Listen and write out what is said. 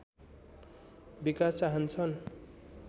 विकास चाहन्छन्